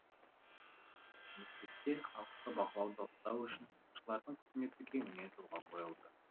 мемлекетте халықты бақылауда ұстау үшін тыңшылардың қызметі кеңінен жолға қойылды